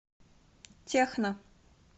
техно